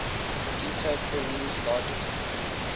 credito peru's largest